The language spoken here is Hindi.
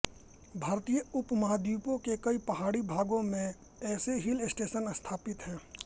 भारतीय उपमहाद्वीप के कई पहाड़ी भागों में ऐसे हिल स्टेशन स्थापित हैं